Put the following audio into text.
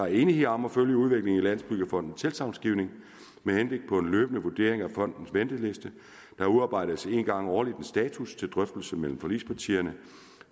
enighed om at følge udviklingen i landsbyggefondens tilsagnsgivning med henblik på en løbende vurdering af fondens venteliste der udarbejdes en gang årligt en status til drøftelse mellem forligspartierne